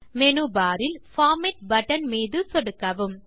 menu bar இல் format button மீது சொடுக்கவும்